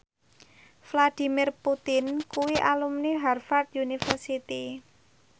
Vladimir Putin kuwi alumni Harvard university